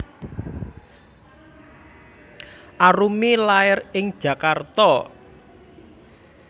Arumi lair ing Jakarta